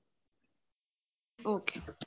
okay